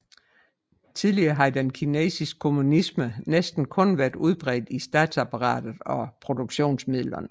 Tidligere havde den kinesiske kommunisme næsten kun været udbredt i statsapparatet og produktionsmidlerne